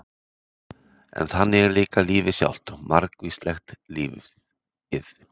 En þannig er líka lífið sjálft- margvíslegt lífið.